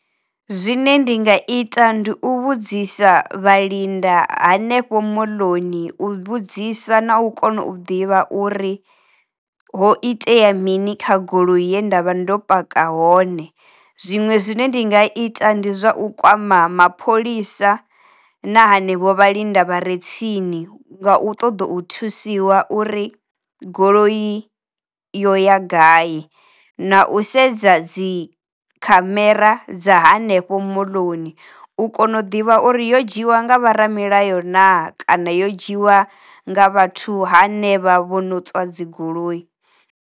Zwine ndi nga ita ndi u vhudzisa vha linda hanefho moḽoni u vhudzisa na u kona u ḓivha uri ho itea mini kha goloi ye ndavha ndo paka hone. Zwiṅwe zwine ndi nga ita ndi zwa u kwama mapholisa na hanevho vha linda vhare tsini nga u ṱoḓa u thusiwa uri goloi yo ya gai, na a u u sedza dzi khamera dza hanefho moḽoni u kona u ḓivha uri yo dzhiwa nga vho ra milayo na kana yo dzhiwa nga vhathu ha nevha vho no tswa dzi goloi.